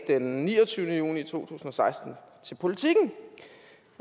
den niogtyvende juli to tusind og seksten til politiken